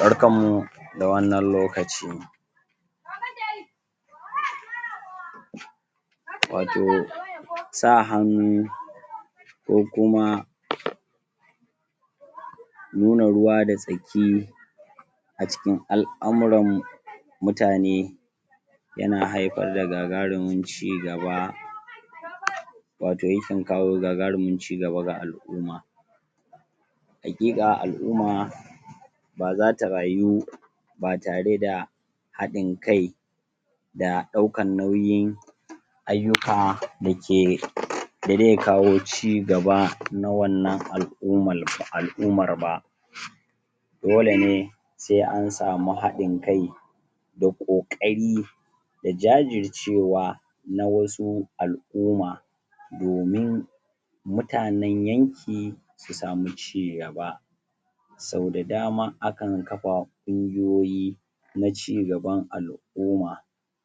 barkan mu da wannan lokaci wato sa hannu ko kuma nuna ruwa da tsaki a cikin al'amuran mutane yana haifar da gagarumin cigaba wato yakan kawo gagarumin cigaba ga al'uma haƙiƙa al'uma baza ta rayu ba tare da haɗin kai da ɗaukan nauyin aiyuka dake da dai kawo cigaba 'na wannan al'umar ba dole ne sai ansamu haɗin kai da ƙokari da jajircewa na wasu al'uma domin mutanan yanki su sami cigaba sau da dama akan kafa kungijoyi na cigaban al'uma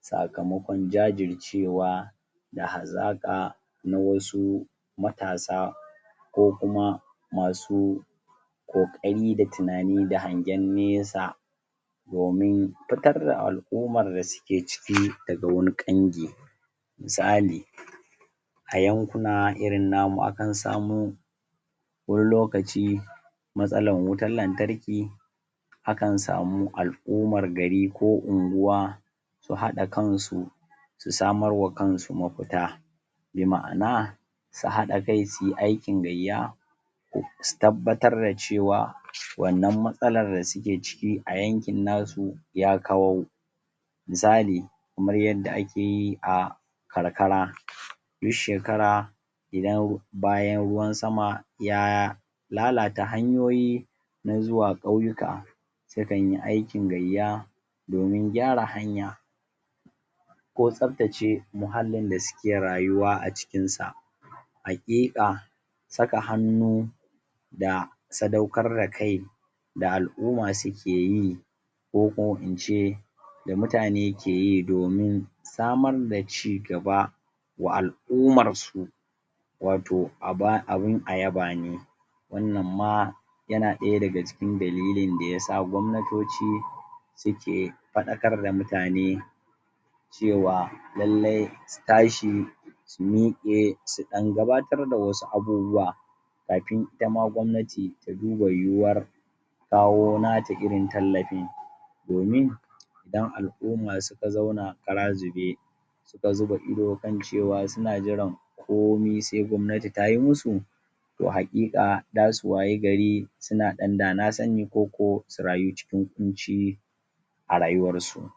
sakamakon jajircewa da hazaƙa na wasu matasa ko kuma masu ƙoƙari da hazaka da hangwan nesa domin fitar da al'umar da suke ciki daga wani ƙangi misali a yankuna irin namu akan samu wani lokaci matsalar wutar lantarki akan samu al'umar gari ko unguwa su haɗa kansu su samarwa kansu mafuta bi ma'ana su haɗa kai suyi aikin gayya su tabbatar da cewa wannan matsalar da suke ciki a yankin nasu ya kau misali kamar yadda akeyi a karkara duk shekara idan bayan ruwan sama ya lalata hanyoyi na zuwa ƙauyuka sukanyi aikin gayya domin gyara hanya ko tsaftace muhallin da suke rayuwa a cikinsa haƙiƙa saka hannu da sadaukar da kai da al'umma sukeyi ko ko ince da mutane keyi domin samar da cigaba wa al'umarsu wato abun a yaba ne wannan ma yana ɗaya daga cikin dalilin da yasa gwamnatoci suke faɗakar da mutane cewa lallai su tashi su miƙe suɗan gabatar da wasu abubuwa kafin itama gwamnati ta duba yuwuwar kawo nata irin tallafin domin idan al'umma suka zauna kara zube suka zuba ido suna jiran cewa komi sai gwamnati tayi musu to haƙiƙa zasu wayi gari suna ɗan dana sani ko ko su rayu cikin kunci a rayuwarsu